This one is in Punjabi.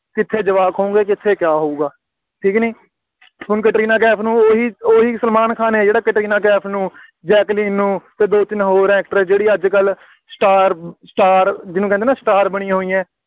ਕਿੱਥੇ ਜਵਾਕ ਹੋਣਗੇ, ਕਿੱਥੇ ਕਿਆ ਹੋਊਗਾ, ਠੀਕ ਕਿ ਨਹੀਂ, ਹੁਣ ਕੈਟਰੀਨਾ ਕੈਫ ਨੂੰ, ਉਹੀ ਉਹੀ ਸਲਮਾਨ ਖਾਨ ਹੈ ਜਿਹੜਾ ਕੈਟਰੀਨਾ ਕੈਫ ਨੂੰ, ਜੈਕਲੀਨ ਨੂੰ ਅਤੇ ਦੋ ਤਿੰਨ ਹੋਰ actress ਹੈ ਜਿਹੜੀ ਅੱਜ ਕੱਲ੍ਹ star star ਜਿਹਨੂੰ ਕਹਿੰਦੇ ਆ ਨਾ star ਬਣੀਆਂ ਹੋਈਆਂ,